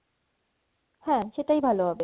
হ্যা সেটাই ভালো হবে